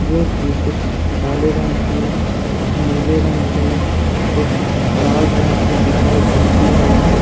जो कि कुछ काले रंग की कुछ नीले रंग की कुछ लाल रंग की दिखाई पड़ती है।